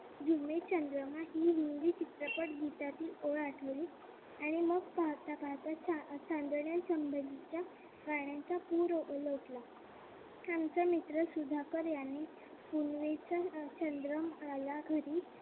ही हिंदी चित्रपट गीतातील ओळ आठवली. आणि मग पाहता पाहता चांदण्या संबंधीच्या गाण्यांचा पूर उलटला आमचा मित्र सुधाकर यांनी पुनवेचा चंद्र आला घरी